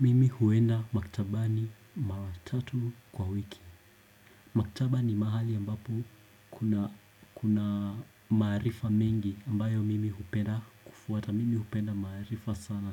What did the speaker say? Mimi huenda maktabani maratatu kwa wiki Maktaba ni mahali ambapo kuna maarifa mengi ambayo mimi hupenda kufuata Mimi hupenda maarifa sana